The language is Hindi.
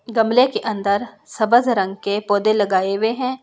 गमले के अंदर सब्ज रंग के पौधे लगाए हुए हैं।